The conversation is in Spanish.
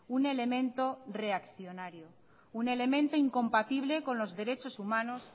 un elemento reaccionario un elemento incompatible con los derechos humanos